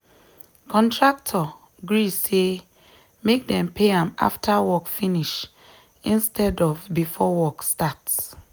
contractor gree say make dem pay am after work finish instead of before work start.